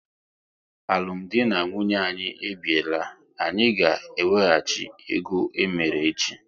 Alụmdi na nwunye anyị e biela, anyị ga ewehachi ego emere echi!